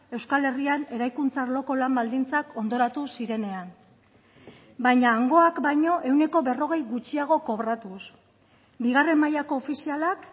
euskal herrian eraikuntza arloko lan baldintzak ondoratu zirenean baina hangoak baino ehuneko berrogei gutxiago kobratuz bigarren mailako ofizialak